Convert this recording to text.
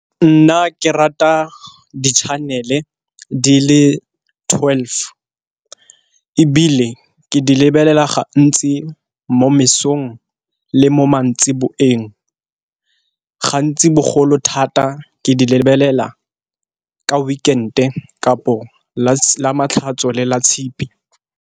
Nna ke rata di-channel-e di le twelve, ebile ke di lebelela gantsi mo mesong le mo mantsiboeng gantsi bogolo thata ke di lebelela ka weekend-e kapo ka lamatlhatso le latshipi.